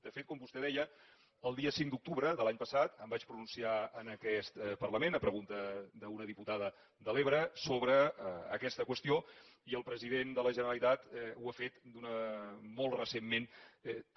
de fet com vostè deia el dia cinc d’octubre de l’any passat em vaig pronunciar en aquest parlament a pregunta d’una diputada de l’ebre sobre aquesta qüestió i el president de la generalitat ho ha fet molt recentment també